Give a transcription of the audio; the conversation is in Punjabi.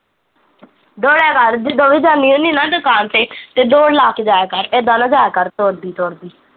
ਦੋੜਿਆ ਕਰ, ਜਦੋਂ ਵੀ ਜਾਂਦੀ ਹੁੰਦੀ ਨਾ ਦੁਕਾਨ ਤੇ ਦੋੜ ਲਾ ਕੇ ਜਾਇਆ ਕਰ ਇੱਦਾਂ ਨਾ ਜਾਇਆ ਕਰ ਤੁਰਦੀ ਤੁਰਦੀ